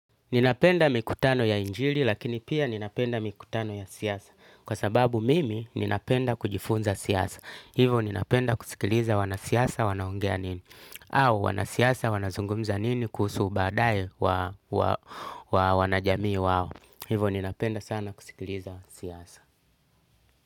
Ninapenda mikutano ya injili lakini pia ninapenda mikutano ya siasa. Kwa sababu mimi ninapenda kujifunza siyasa. Hivo ninapenda kusikiliza wanasiasa wanaongea nini. Au wanasiasa wanazungumza nini kuhusu baadaye wa wanajamii wao. Hivo ninapenda sana kusikiliza siyasa.